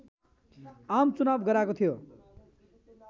आमचुनाव गराएको थियो